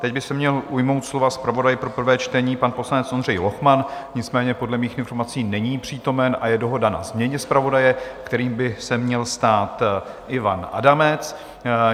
Teď by se měl ujmout slova zpravodaj pro prvé čtení, pan poslanec Ondřej Lochman, nicméně podle mých informací není přítomen a je dohoda na změně zpravodaje, kterým by se měl stát Ivan Adamec.